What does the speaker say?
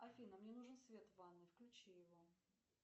афина мне нужен свет в ванной включи его